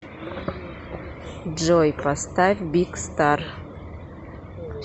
джой поставь биг стар